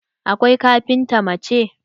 Akwai kafinta mace.